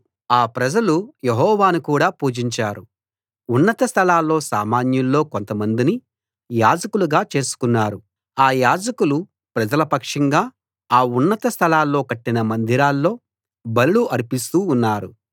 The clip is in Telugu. ఆ ప్రజలు యెహోవాను కూడా పూజించారు ఉన్నత స్థలాల్లో సామాన్యుల్లో కొంతమందిని యాజకులుగా చేసుకున్నారు అ యాజకులు ప్రజల పక్షంగా ఆ ఉన్నత స్థలాల్లో కట్టిన మందిరాల్లో బలులు అర్పిస్తూ ఉన్నారు